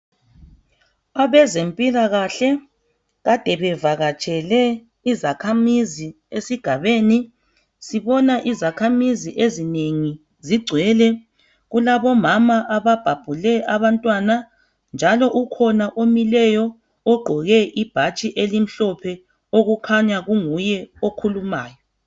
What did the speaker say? abezempilakahle kade bevaketshele izakhamizi esigabeni sibona izakhamizi ezinengi zigcwele kulabomama ababhabhule abantwana njalo ukhona omileyo ogqoke ibhatshi elimhlophe okukhanya kunguye okhulumayo